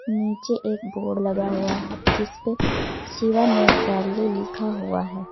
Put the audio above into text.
नीचे एक बोर्ड लगा हुआ है जिस पे शिवा नेत्रालय लिखा हुआ है।